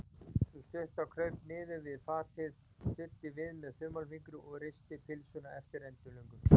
Sú stutta kraup niður við fatið, studdi við með þumalfingri og risti pylsuna eftir endilöngu.